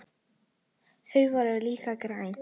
Þau voru líka græn.